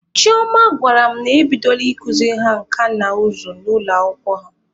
Chioma gwara m na ebidola ikuziri ha nka na ụzụ n'ụlọ akwụkwọ ha.